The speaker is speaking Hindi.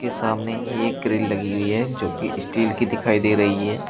के सामने ही एक ग्रिल लगी हुई है जो कि स्टील की दिखाई दे रही है।